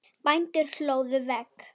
Bændur hlóðu vegg.